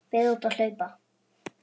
Fer út að hlaupa.